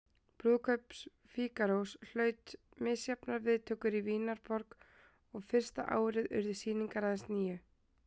Brúðkaup Fígarós hlaut misjafnar viðtökur í Vínarborg og fyrsta árið urðu sýningar aðeins níu.